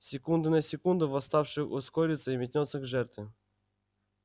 с секунды на секунду восставший ускорится и метнётся к жертве